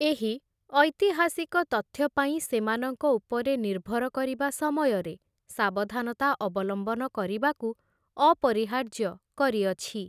ଏହି, ଐତିହାସିକ ତଥ୍ୟ ପାଇଁ ସେମାନଙ୍କ ଉପରେ ନିର୍ଭର କରିବା ସମୟରେ ସାବଧାନତା ଅବଲମ୍ବନ କରିବାକୁ ଅପରିହାର୍ଯ୍ୟ କରିଅଛି ।